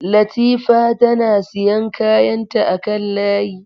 Latifa tana siyan kayanta akan layi.